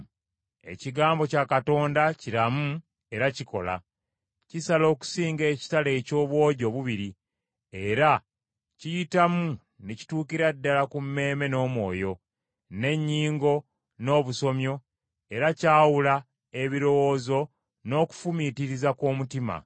Ekigambo kya Katonda kiramu era kikola. Kisala okusinga ekitala eky’obwogi obubiri, era kiyitamu ne kituukira ddala ku mmeeme n’omwoyo, n’ennyingo n’obusomyo, era kyawula ebirowoozo n’okufumiitiriza kw’omutima.